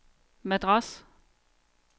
Madras